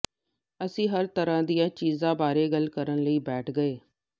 ਅਸੀਂ ਹਰ ਤਰ੍ਹਾਂ ਦੀਆਂ ਚੀਜ਼ਾਂ ਬਾਰੇ ਗੱਲ ਕਰਨ ਲਈ ਬੈਠ ਗਏ